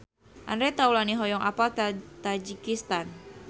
Andre Taulany hoyong apal Tajikistan